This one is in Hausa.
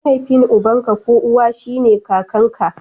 Mahaifin uban ka ko uwa shine kakanka.